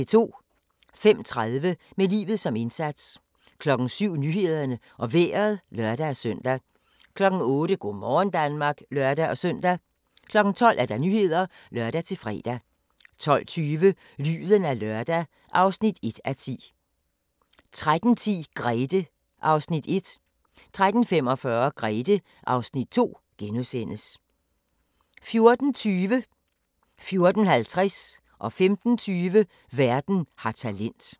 05:30: Med livet som indsats 07:00: Nyhederne og Vejret (lør-søn) 08:00: Go' morgen Danmark (lør-søn) 12:00: Nyhederne (lør-fre) 12:20: Lyden af lørdag (1:10) 13:10: Grethe (Afs. 1)* 13:45: Grethe (Afs. 2)* 14:20: Verden har talent 14:50: Verden har talent 15:20: Verden har talent